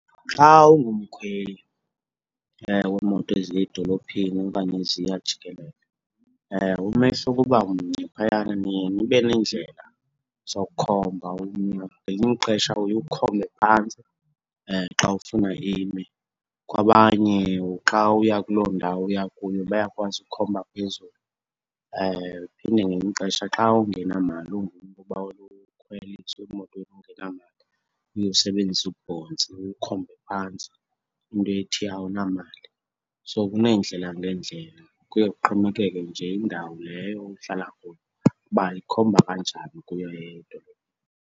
Xa ungumkhweli weemoto eziya edolophini okanye eziya jikelele, umisa ukuba mnye phayana, niye nibe neendlela zokukhomba umnwe. Ngelinye ixesha uye ukhombe phantsi xa ufuna ime, kwabanye xa uya kuloo ndawo uya kuyo bayakwazi ukhomba phezulu. Phinde ngelinye ixesha xa ungenamali ungumntu ubawela ukhweliswa emotweni ungenamali, uye usebenzise ubhontsi ukhombe phantsi, into ethi awunamali. So kuneendlela ngeendlela, kuye kuxhomekeke nje indawo leyo uhlala kuyo uba ikhomba kanjani ukuya .